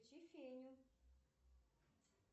включи феню